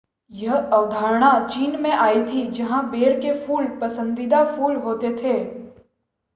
यह अवधारणा चीन से आई थी जहां बेर के फूल पसंदीदा फूल होते थे